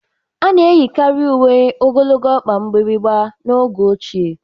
A na-eyikarị uwe ogologo ọkpa mgbịrịgba n'oge ochie